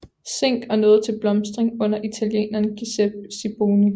Zinck og nåede til blomstring under italieneren Giuseppe Siboni